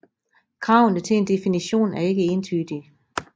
Kravene til en definition er ikke entydige